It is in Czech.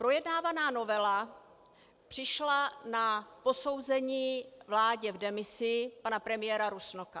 Projednávaná novela přišla na posouzení vládě v demisi pana premiéra Rusnoka.